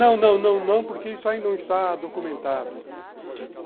Não, não, não, não, porque isso aí não está documentado.